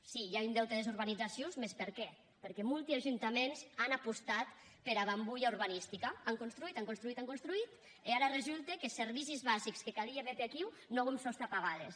sí i a un deute des urbanizacions mès per qué perque molti ajuntaments an apostat pera bambolha urbanistica an construït an construït an construït e ara resulte que servicis basics que calia méter aquiu non auem sòs tà pagar les